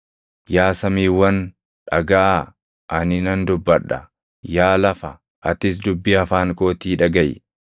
Yaa samiiwwan, dhagaʼaa; ani nan dubbadha; yaa lafa, atis dubbii afaan kootii dhagaʼi.